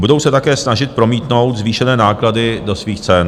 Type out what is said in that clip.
Budou se také snažit promítnout zvýšené náklady do svých cen.